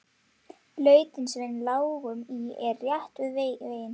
Lautin sem við lágum í er rétt við veginn.